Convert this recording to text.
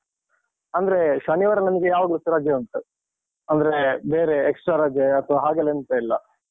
ಅಂದ್ರೆ ಶನಿವಾರ ನಮ್ಗೆ ಯಾವಾಗ್ಲೂಸ ರಜೆ ಉಂಟು ಅಂದ್ರೆ ಬೇರೆ extra ರಜೆ ಅಥವಾ ಹಾಗೆಲ್ಲ ಎಂತ ಇಲ್ಲ.